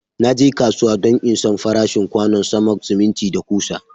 Na je kasuwa don in San farashin kwanon sama, siminti, da kusa.